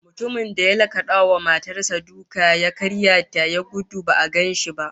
Mutumin da ya lakada wa matar sa suka ya karya ta, ya gudu ba'a gan shi ba